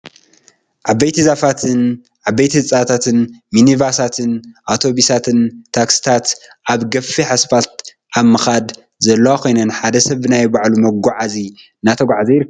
ዓበይቲ ዛፋትን ዓበይቲ ህንፃታትን ሚንባሳትን ኣቶቢሳትን ታክስታት ኣብ ገፊሕ እስፓልቲ ኣብ ምካድ ዘለዋ ኮይነን ሓደ ሰብ ብናይ ባዕሉ መጋዕዚ እናተጎዕዘ ይርከብ።